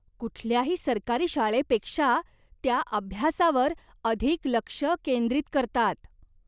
कुठल्याही सरकारी शाळेपेक्षा त्या अभ्यासावर अधिक लक्ष केंद्रित करतात.